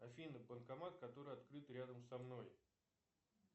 афина банкомат который открыт рядом со мной